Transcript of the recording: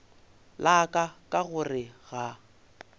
la ka ka gore ga